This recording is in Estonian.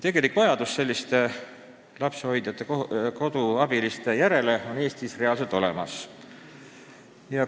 Vajadus selliste lapsehoidjate-koduabiliste järele on Eestis reaalselt olemas.